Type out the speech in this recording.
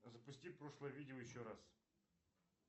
запусти прошлое видео еще раз